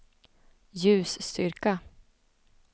ljusstyrka